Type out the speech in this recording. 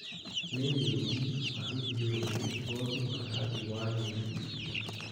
nĩrĩũũmbi wa gĩthiũrũrĩ ngothi wa rangi wa nyeni irĩa